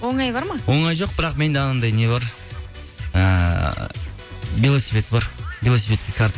оңай бар ма оңай жоқ бірақ менде анандай не бар ыыы велосипед бар велосипедке карта